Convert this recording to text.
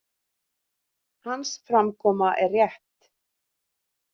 Hans framkoma er rétt.